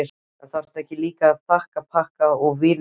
En þarftu ekki líka þakpappa og vírnet?